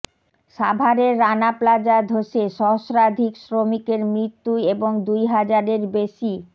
সাভারের রানা প্লাজা ধসে সহস্রাধিক শ্রমিকের মৃত্যু এবং দুই হাজারের বেশি